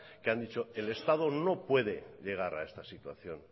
que han dicho que el estado no puede llegar a esta situación